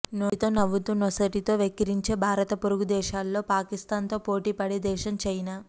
నోటితో నవ్వుతూ నొసటితో వెక్కిరించే భారత పొరుగుదేశాల్లో పాకిస్తాన్ తో పోటీపడే దేశం చైనా